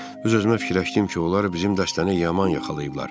Öz-özümə fikirləşdim ki, onlar bizim dəstəni yaman yaxalayıblar.